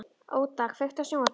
Óda, kveiktu á sjónvarpinu.